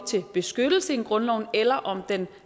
til en beskyttelse i grundloven eller om den